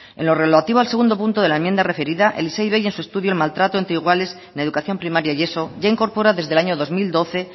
en lo relativo al segundo punto de la enmienda referida el issei ivei en su estudio el maltrato entre iguales en la educación primaria y eso ya incorpora desde el año dos mil doce